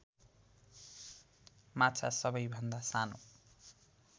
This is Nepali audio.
माछा सबैभन्दा सानो